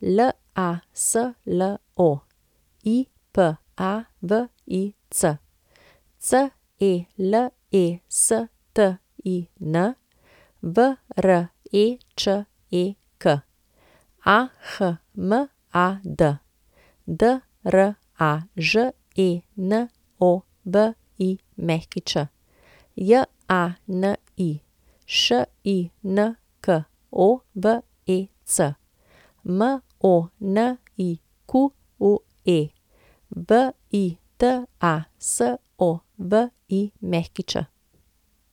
Laslo Ipavic, Celestin Vreček, Ahmad Draženović, Jani Šinkovec, Monique Vitasović.